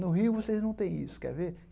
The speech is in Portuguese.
No Rio vocês não têm isso, quer ver?